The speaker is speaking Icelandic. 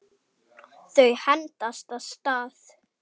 Þau hendast af stað.